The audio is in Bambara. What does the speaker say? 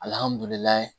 Alihamudulila